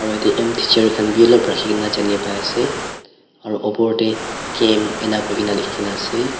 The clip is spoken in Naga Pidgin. aro yate m teacher olop rakhikae na janipa ase aro opor tae camp ene kuila likhina ase.